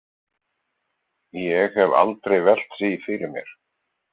Ég hef aldrei velt því fyrir mér.